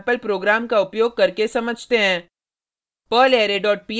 अब इसे एक सेम्पल प्रोग्राम का उपयोग करके समझते हैं